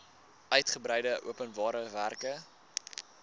uigebreide openbare werke